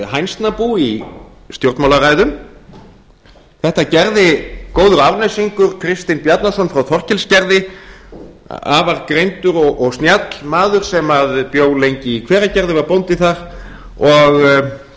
góður árnesingur kristinn í hænsnabú í stjórnmálaræðum þetta gerði góður árnesingur kristinn bjarnason frá þorkelsgerði afar greindur og snjall maður sem bjó lengi í hveragerði og var bóndi þar